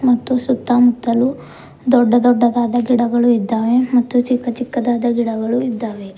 ಮತ್ತು ಸುತ್ತ ಮುತ್ತಲು ದೊಡ್ಡ ದೊಡ್ಡದಾದ ಗಿಡಗಳು ಇದ್ದಾವೆ ಮತ್ತು ಚಿಕ್ಕ ಚಿಕ್ಕದಾದ ಗಿಡಗಳು ಇದ್ದಾವೆ.